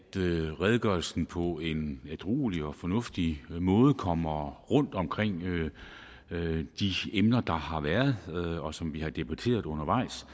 redegørelsen på en ædruelig og fornuftig måde kommer rundt omkring de emner der har været og som vi har debatteret undervejs